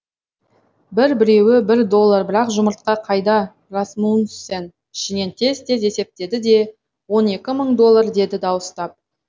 бір біреуі бір доллар бірақ жұмыртқа қайда расмунсен ішінен тез тез есептеді де он екі мың доллар деді дауыстап